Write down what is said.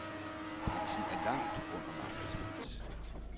Prisen er langt under markedspris.